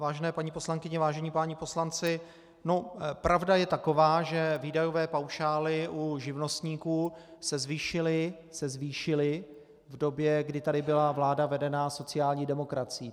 Vážené paní poslankyně, vážení páni poslanci, pravda je taková, že výdajové paušály u živnostníků se zvýšily v době, kdy tady byla vláda vedená sociální demokracií.